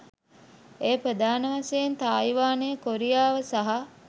එය ප්‍රධාන වශයෙන් තායිවානය, කොරියාව සහ